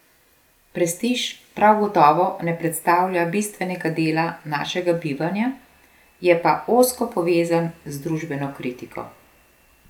Prestiž prav gotovo ne predstavlja bistvenega dela našega bivanja, je pa ozko povezan z družbeno kritiko.